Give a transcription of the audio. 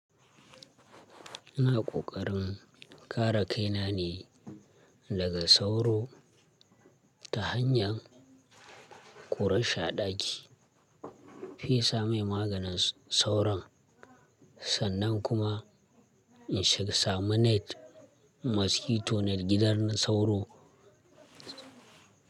iNa ƙoƙarin kare kaina ne daga sauro ta hanyar ƙurar shi a ɗaki, in fesa mai maganin sauron sannan kuma in shiga sama net, mosquito net gidan sauro.